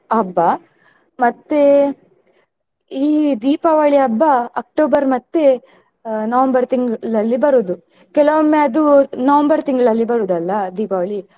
ಮತ್ತೆ ಈ ದೀಪಾವಳಿ ಹಬ್ಬ October ಮತ್ತೆ ಅಹ್ November ತಿಂಗ್ಳಲ್ಲಿ ಬರುದು ಕೆಲವೊಮ್ಮೆ ಅದು November ತಿಂಗಳಲ್ಲಿ ಬರುದಲ್ಲ ದೀಪಾವಳಿ.